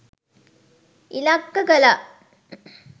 ඉලක්ක කළා